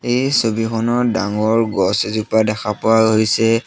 এই ছবিখনত ডাঙৰ গছ এজোপা দেখা পোৱা হৈছে।